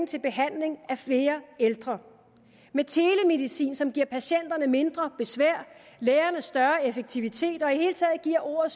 til behandling af flere ældre med telemedicin som giver patienterne mindre besvær lægerne større effektivitet og hele taget giver ordet